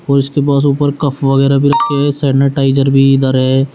और उसके ऊपर कप वगैरा भी रखे हैं सैनिटाइजर भी इधर है।